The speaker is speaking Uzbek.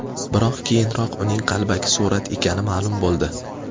Biroq, keyinroq uning qalbaki surat ekani ma’lum bo‘ldi.